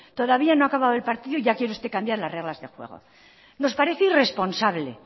todavía no ha acabado el partido y ya quiere usted cambiar las reglas del juego nos parece irresponsable